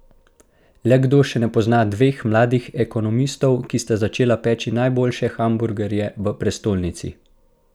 Le kdo še ne pozna dveh mladih ekonomistov, ki sta začela peči najboljše hamburgerje v prestolnici?